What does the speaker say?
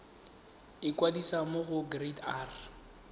ikwadisa mo go kereite r